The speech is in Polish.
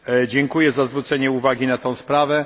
Dziękuję za zwrócenie uwagi na tę sprawę.